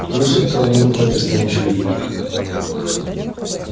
она шептала на ухо ты станешь великим